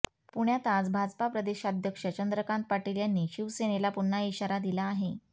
पुण्यात आज भाजपा प्रदेशाध्यक्ष चंद्रकांत पाटील यांनी शिवसेनेला पुन्हा इशारा दिला आहे